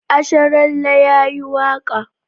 Asharalle ya yi waƙa